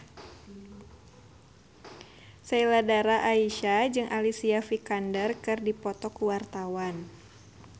Sheila Dara Aisha jeung Alicia Vikander keur dipoto ku wartawan